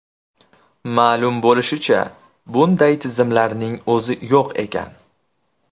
Ma’lum bo‘lishicha, bunday tizimlarning o‘zi yo‘q ekan!